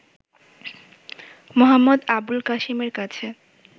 মো. আবুল কাসেমের কাছে